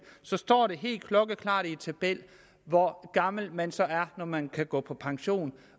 så står det helt klokkeklart i en tabel hvor gammel man så er når man kan gå på pension